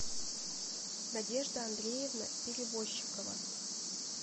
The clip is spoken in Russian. надежда андреевна перевозчикова